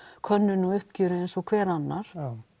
könnun á uppgjöri eins og hver annar